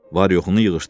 Var-yoxunu yığışdırdı.